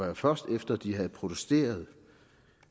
jo først var efter de havde protesteret